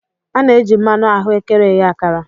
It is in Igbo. A na-eji mmanụ ahụekere eghe akara.